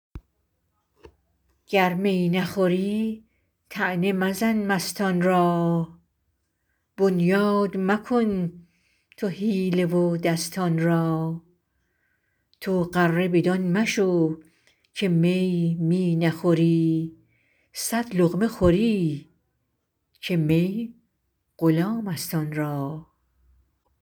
گر می نخوری طعنه مزن مستان را بنیاد مکن تو حیله و دستان را تو غره بدان مشو که می می نخوری صد لقمه خوری که می غلام است آن را